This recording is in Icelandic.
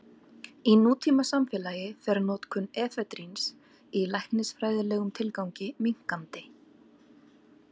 Í nútímasamfélagi fer notkun efedríns í læknisfræðilegum tilgangi minnkandi.